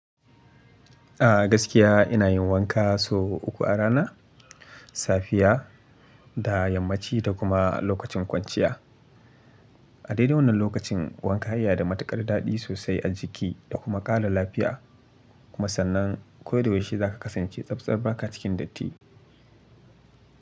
A gaskiya ina yin wanka sau uku a rana, safiya da yammaci da kuma lokacin kwanciya. A dai dai wannan lokacin wanka ya iya da matuƙar daɗi sosai a jiki da kuma ƙara lafiya. Kuma sannan ko da yaushe za ka kasance tsabtsaba ka cikin datti.